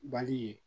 Bali ye